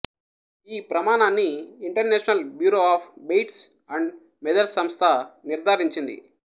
ఈ ప్రమాణాన్ని international bureau of weights and measures సంస్థ నిర్థారించింది